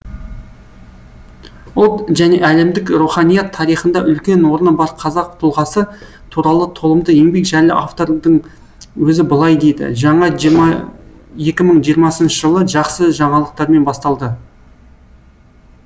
ұлт және әлемдік руханият тарихында үлкен орны бар қазақ тұлғасы туралы толымды еңбек жайлы автордың өзі былай дейді жаңа екі мың жиырмасыншы жыл жақсы жаңалықтармен басталды